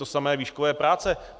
To samé výškové práce.